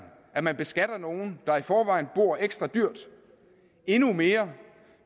at man beskatter nogle der i forvejen bor ekstra dyrt endnu mere